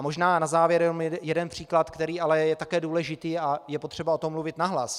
A možná na závěr jenom jeden příklad, který je ale také důležitý a je potřeba o tom mluvit nahlas.